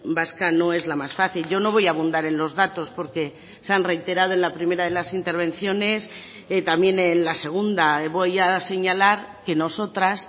vasca no es la más fácil yo no voy a abundar en los datos porque se han reiterado en la primera de las intervenciones también en la segunda voy a señalar que nosotras